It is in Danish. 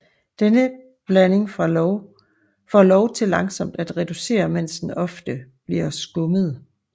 Denne blanding for lov til langsomt at reducere mens den ofte bliver skummet